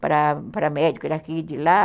para para médico daqui e de lá.